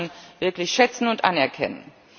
Also das muss man wirklich schätzen und anerkennen.